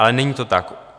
Ale není to tak.